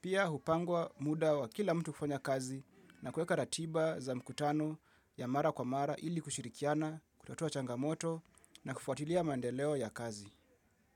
Pia hupangwa muda wa kila mtu kufanya kazi na kueka ratiba za mkutano ya mara kwa mara ili kushirikiana, kutotoa changamoto na kufuatilia mandeleo ya kazi.